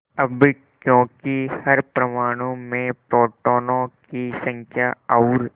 अब क्योंकि हर परमाणु में प्रोटोनों की संख्या और